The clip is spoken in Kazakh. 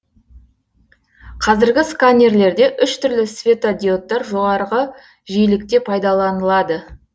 қазіргі сканерлерде үш түрлі светодиодтар жоғарғы жиілікте пайдаланылады